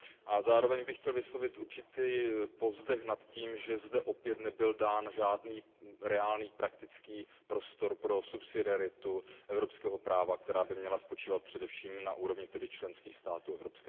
A zároveň bych chtěl vyslovit určitý povzdech nad tím, že zde opět nebyl dán žádný reálný praktický prostor pro subsidiaritu evropského práva, která by měla spočívat především na úrovni členských států EU.